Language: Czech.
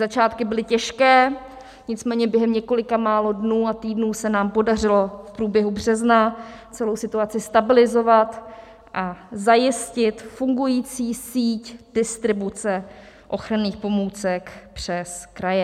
Začátky byly těžké, nicméně během několika málo dnů a týdnů se nám podařilo v průběhu března celou situaci stabilizovat a zajistit fungující síť distribuce ochranných pomůcek přes kraje.